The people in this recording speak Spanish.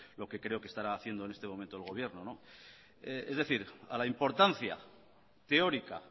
lo que creo estará haciendo en este momento el gobierno es decir a la importancia teórica